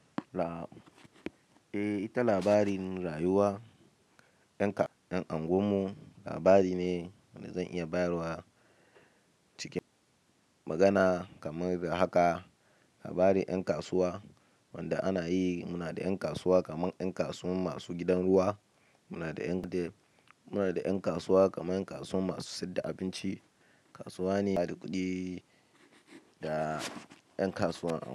Ita labarin rayuwa, labari ne wanda zan iya bayarwa cikin magana kamar haka labarin ƴan kasuwa wanda ana yi. Muna da ƴan kasuwa kaman kasuwan masu gidan ruwa. Muna da ƴan kasuwa kaman yan kasuwan masu sayadda abinci. Kasuwa ne da kuɗi da ƴan kasuwa.